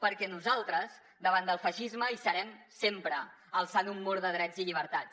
perquè nosaltres davant del feixisme hi serem sempre alçant un mur de drets i llibertats